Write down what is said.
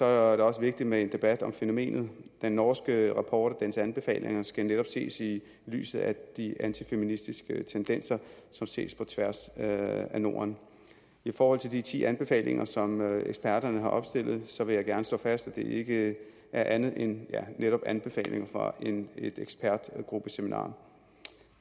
også vigtigt med en debat om fænomenet den norske rapport og dens anbefalinger skal netop ses i lyset af de antifeministiske tendenser som ses på tværs af norden i forhold til de ti anbefalinger som eksperterne har opstillet så vil jeg gerne slå fast at det ikke er andet end ja netop anbefalinger fra et ekspertgruppeseminar